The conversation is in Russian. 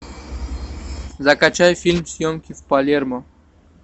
закачай фильм съемки в палермо